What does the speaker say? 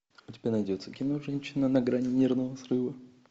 у тебя найдется кино женщина на грани нервного срыва